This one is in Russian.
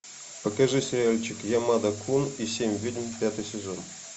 покажи сериальчик ямада кун и семь ведьм пятый сезон